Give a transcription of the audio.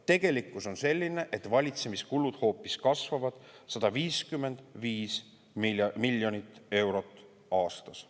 Tegelikkus on selline, et valitsemiskulud hoopis kasvavad 155 miljonit eurot aastas.